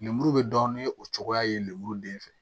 Lemuru be dɔ ni o cogoya ye lemuru den fɛ